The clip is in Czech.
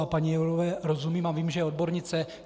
A paní Jourové rozumím a vím, že je odbornice.